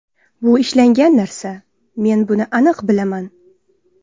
Bu ishlangan narsa, men buni aniq bilaman.